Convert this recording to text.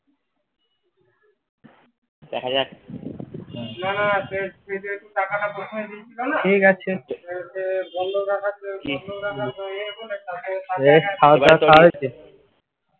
দেখা যাক ঠিক আছে